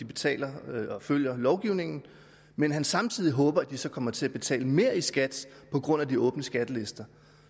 betaler og følger lovgivningen men at han samtidig håber at de så kommer til at betale mere i skat på grund af de åbne skattelister